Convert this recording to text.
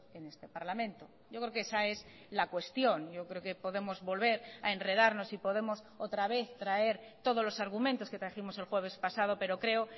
en este parlamento yo creo que esa es la cuestión yo creo que podemos volver a enredarnos y podemos otra vez traer todos los argumentos que trajimos el jueves pasado pero creo